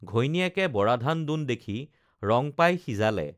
ঘৈণীয়েকে বৰাধান দোন দেখি ৰং পাই সিজালে